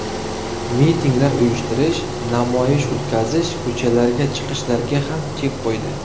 Mitinglar uyushtirish, namoyish o‘tkazib ko‘chalarga chiqishlarga ham chek qo‘ydi.